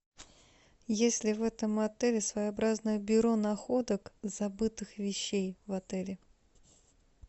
есть ли в этом отеле своеобразное бюро находок забытых вещей в отеле